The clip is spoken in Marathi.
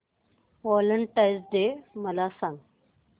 व्हॅलेंटाईन्स डे मला सांग